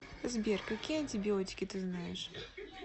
сбер какие антибиотики ты знаешь